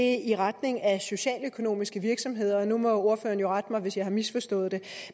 er i retning af socialøkonomiske virksomheder og nu må ordføreren jo rette mig hvis jeg har misforstået det